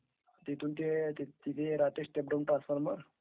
तिथून ते राहाहते... is not clear